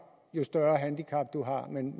jo større handicap man har men